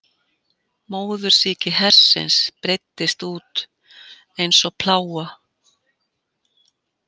Móðursýki hersins breiddist út einsog plága.